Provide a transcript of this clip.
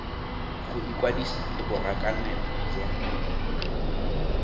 go ikwadisa le borakanelo jwa